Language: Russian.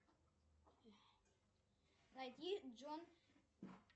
найди джон